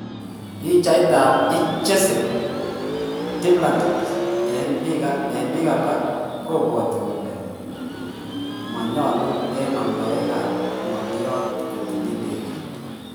pichat ap @jesse_duplantis en pig alak kopwotin kole monyolu en amdoik ap ngoliot kotinye ndegeit